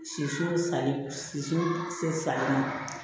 Soso sanni